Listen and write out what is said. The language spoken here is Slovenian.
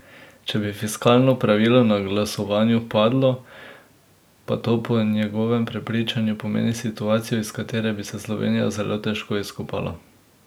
Če bi fiskalno pravilo na glasovanju padlo, pa to po njegovem prepričanju pomeni situacijo, iz katere bi se Slovenija zelo težko izkopala.